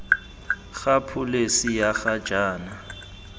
ga pholesi ya ga jaana